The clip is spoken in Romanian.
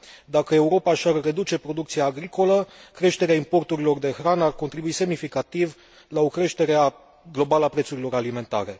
Dacă Europa și ar reduce producția agricolă, creșterea importurilor de hrană ar contribui semnificativ la o creștere globală a prețurilor alimentare.